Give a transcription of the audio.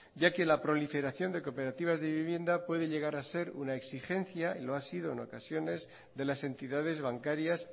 ya que la proliferación de cooperativas de vivienda puede llegar a ser una exigencia y lo ha sido en ocasiones de las entidades bancarias